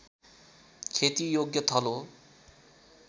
खेतीयोग्य थलो